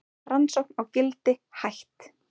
Rannsókn á Gildi hætt